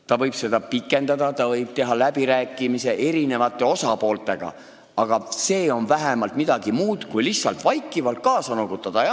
Ta võib seda aega pikendada, ta võib läbi rääkida eri osapooltega, aga see on vähemalt midagi muud kui lihtsalt vaikivalt kaasa noogutada.